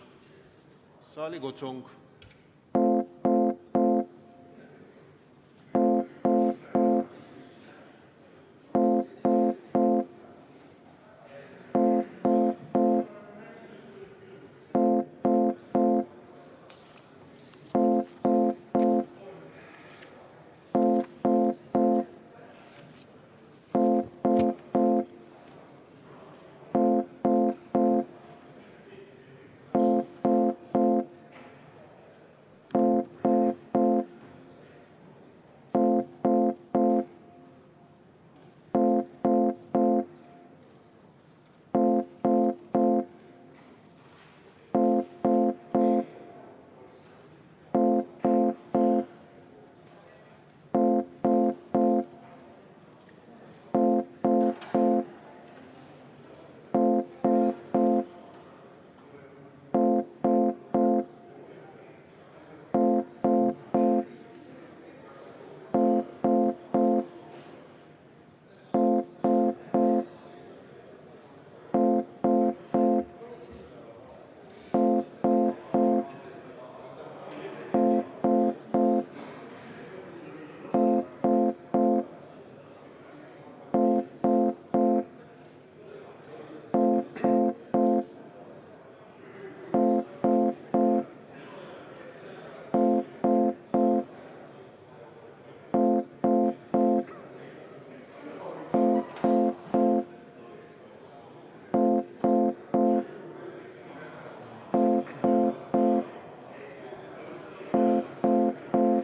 Annan saalikutsungi.